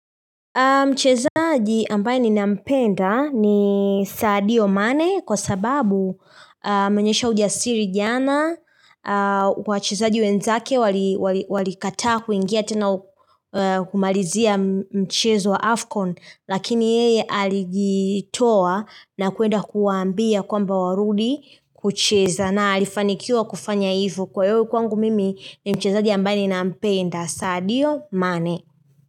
Mchezaji ambaye ni nampenda ni sadio mane kwa sababu ameonyesha uja siri jana, wachezaji wenzake wali kataa kuingia tena kumalizia mchezo wa Afcon lakini yeye alijitoa na kuenda kuwaambia kwamba warudi kucheza na alifanikiwa kufanya hivo kwa hio kwangu mimi ni mchezaji ambaye ni nampenda sadio mane.